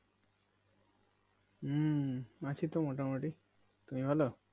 হম আছিতো মোটামুটি তুমি ভালো